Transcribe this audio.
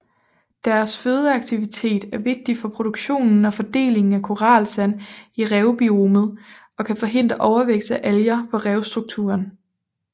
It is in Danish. Deres fødeaktivitet er vigtig for produktionen og fordelingen af koralsand i revbiomet og kan forhindre overvækst af alger på revstrukturen